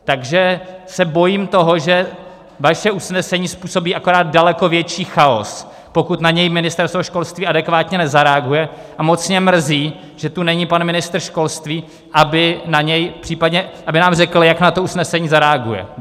Takže se bojím toho, že vaše usnesení způsobí akorát daleko větší chaos, pokud na něj Ministerstvo školství adekvátně nezareaguje, a moc mě mrzí, že tu není pan ministr školství, aby nám řekl, jak na to usnesení zareaguje.